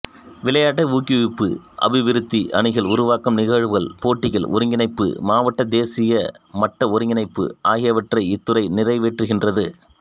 விளையாட்டு ஊக்குவிப்பு அபிவிருத்தி அணிகள் உருவாக்கம் நிகழ்வுகள் போட்டிகள் ஒருங்கிணைப்பு மாவட்ட தேசிய மட்ட ஒருங்கிணைப்பு ஆகியவற்றை இத்துறை நிறைவேற்றுகின்றது